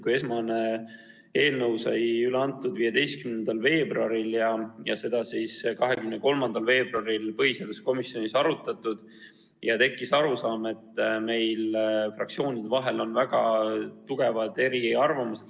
Kui esmane eelnõu sai üle antud 15. veebruaril ja seda arutati põhiseaduskomisjonis 23. veebruaril, siis tekkis arusaam, et fraktsioonide vahel on väga tugevad eriarvamused.